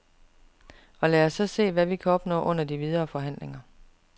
Og lad os så se, hvad vi kan opnå under de videre forhandlinger.